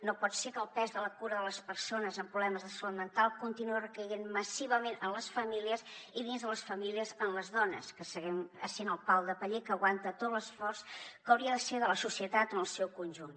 no pot ser que el pes de la cura de les persones amb problemes de salut mental continuï recaient massivament en les famílies i dins de les famílies en les dones que seguim sent el pal de paller que aguanta tot l’esforç que hauria de ser de la societat en el seu conjunt